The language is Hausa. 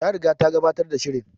Ta riga ta gabatar da shirin